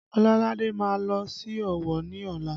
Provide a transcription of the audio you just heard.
Ololade má lọ sí Ọ̀wọ̀ ni ọla